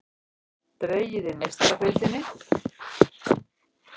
Dregið í Meistaradeildinni